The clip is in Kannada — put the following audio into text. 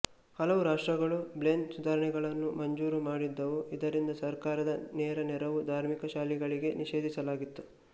ಹಲವು ರಾಷ್ಟ್ರಗಳು ಬ್ಲೇನ್ ಸುಧಾರಣೆಗಳನ್ನು ಮಂಜೂರು ಮಾಡಿದವು ಇದರಿಂದ ಸರ್ಕಾರದ ನೇರ ನೆರವು ಧಾರ್ಮಿಕ ಶಾಲೆಗಳಿಗೆ ನಿಷೇಧಿಸಲಾಗಿತ್ತು